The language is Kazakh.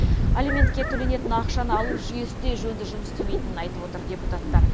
алиментке төленетін ақшаны алу жүйесі де жөнді жұмыс істемейтінін айтып отыр депутаттар